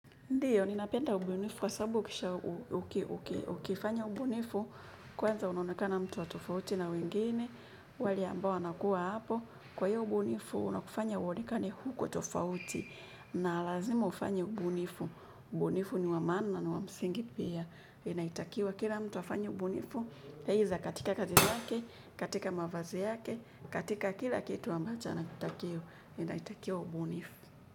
Ndiyo, ninapenda ubunifu kwa sababu ukifanya ubunifu, kwanza unaonekana mtu wa tofauti na wengine, wale ambao wanakuwa hapo. Kwa hiyo ubunifu, unakufanya uonekane uko tofauti na lazima ufanye ubunifu. Ubunifu ni wa maana na ni wa msingi pia. Inatakiwa kila mtu afanye ubunifu. Heiza katika kazi zake, katika mavazi yake, katika kila kitu ambacho na kutakio, inaitakiwa ubunifu.